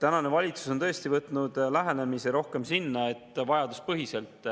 Praegune valitsus on tõesti võtnud rohkem selle lähenemise, et toetada vajaduspõhiselt